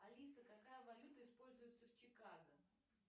алиса какая валюта используется в чикаго